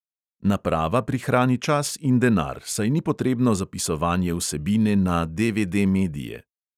Naprava prihrani čas in denar, saj ni potrebno zapisovanje vsebine na DVD-medije.